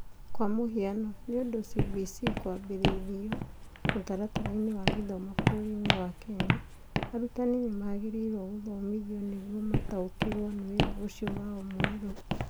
Kwa mũhiano, nĩũndũ CBC kwambĩrĩirio mũtaratara-inĩ wa gĩthomo bũrũri-inĩ wa Kenya, arutani nĩmagĩrĩirwo gũthomithio nĩguo mataũkĩrũo nĩ wĩra ũcio wao mwerũ.